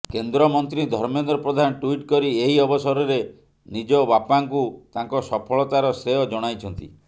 କେନ୍ଦ୍ରମନ୍ତ୍ରୀ ଧର୍ମେନ୍ଦ୍ର ପ୍ରଧାନ ଟ୍ୱିଟ୍ କରି ଏହି ଅବସରରେ ନିଜ ବାପାଙ୍କୁ ତାଙ୍କ ସଫଳତାର ଶ୍ରେୟ ଜଣାଇଛନ୍ତି